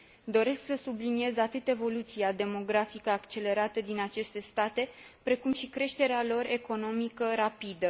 Doresc să subliniez atât evoluția demografică accelerată din aceste state, precum și creșterea lor economică rapidă.